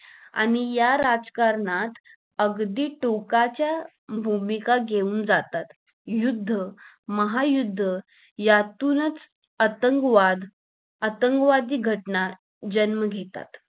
आणि या राजकारणात अगदी टोकाच्या भूमिका घेऊन जातात युद्ध महायुद्ध यातूनच आतंकवाद आतंकवादी घटना जन्म घेतात